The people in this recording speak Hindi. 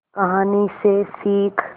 कहानी से सीख